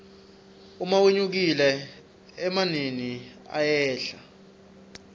uma wenyukile emanini ayehla